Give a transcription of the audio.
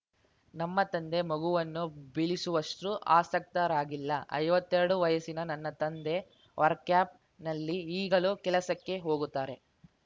ನಮ್ಮ ತಂದೆ ಮಗುವನ್ನು ಬೀಳಿಸುವಷ್ಟುಆಶಕ್ತರಾಗಿಲ್ಲ ಐವತ್ತೆರಡು ವಯಸ್ಸಿನ ನನ್ನ ತಂದೆ ವರ್ಕ್ಯಾಪ್‌ನಲ್ಲಿ ಈಗಲೂ ಕೆಲಸಕ್ಕೆ ಹೋಗುತ್ತಾರೆ